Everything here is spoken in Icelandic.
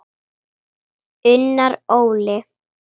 Unnar Óli.